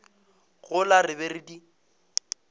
gola re be re di